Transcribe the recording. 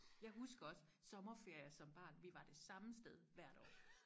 jeg husker også sommerferier som barn vi var det samme sted hvert år